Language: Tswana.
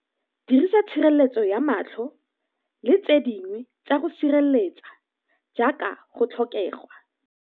Dirisa tshireletso ya matlho le tse dingwe tsa go sireletsa jaaka go tlhokegwa.